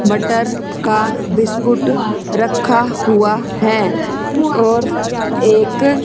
butter का biscuit रखा हुआ है और एक--